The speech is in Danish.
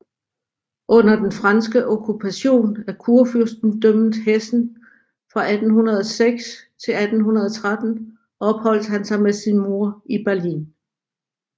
Under den franske okkupation af Kurfyrstendømmet Hessen fra 1806 til 1813 opholdt han sig med sin mor i Berlin